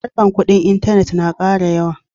Harkar kuɗin intanet na ƙara yawa.